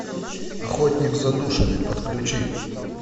охотник за душами подключи